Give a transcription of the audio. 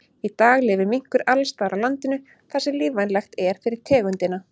Í dag lifir minkur alls staðar á landinu þar sem lífvænlegt er fyrir tegundina.